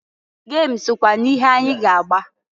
Gem sokwa n'ihe anyị ga-agba.